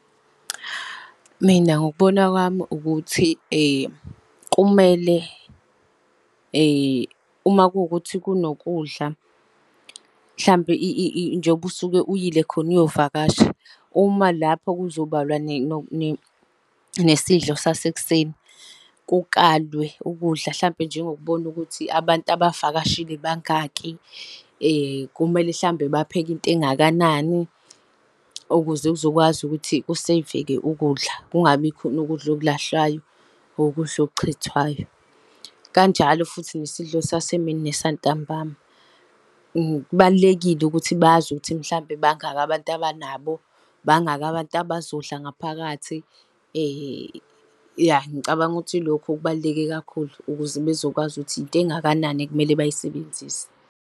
Mina ngokubona kwami ukuthi kumele , uma kuwukuthi kunokudla, mhlampe njengoba usuke uyile khona uyovakasha. Uma lapho kuzobalwa nesidlo sasekuseni, kukalwe ukudla hlampe njengokubona ukuthi abantu abavakashile bangaki kumele hlampe bapheke into engakanani, ukuze kuzokwazi ukuthi kuseyveke ukudla, kungabikhona ukudla okulahlwayo or ukudla okuchithwayo. Kanjalo futhi nesidlo sasemini nesantambama, kubalulekile ukuthi bazi ukuthi mhlampe bangaki abantu abanabo, bangaki abantu abazodla ngaphakathi, . Ya, ngicabanga ukuthi ilokho okubaluleke kakhulu ukuze bezokwazi ukuthi into engakanani ekumele bayisebenzise.